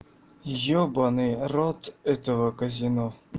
ёбанный рот этого казино